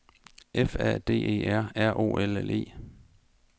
F A D E R R O L L E